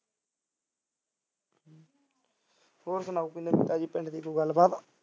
ਹੋਰ ਸੁਣਾ ਕੋਈ ਨਵੀਂ ਤਾਜੀ ਪਿੰਡ ਦੀ ਕੋਈ ਗੱਲਬਾਤ